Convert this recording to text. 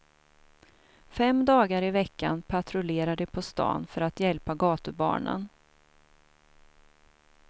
Fem dagar i veckan patrullerar de på stan för att hjälpa gatubarnen.